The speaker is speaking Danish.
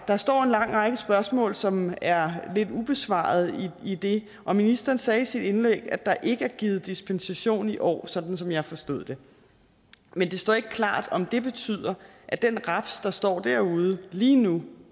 der står en lang række spørgsmål som er lidt ubesvaret i det og ministeren sagde i sit indlæg at der ikke er givet dispensation i år som som jeg forstod det men det står ikke klart om det betyder at den raps der står derude lige nu